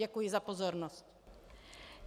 Děkuji za pozornost.